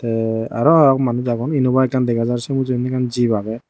te arow agon manus agon enuba ekkan dega jar se mujungedi ekkan jip agey.